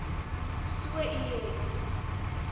so u het